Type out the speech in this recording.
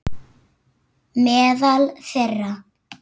Meðal þeirra